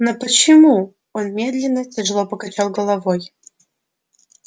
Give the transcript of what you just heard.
но почему он медленно тяжело покачал головой